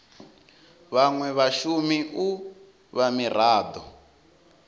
vhanwe vhashumi u vha mirado